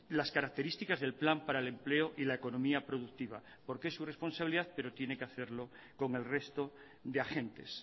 las características del plan para el empleo y la economía productiva porque es su responsabilidad pero tiene que hacerlo con el resto de agentes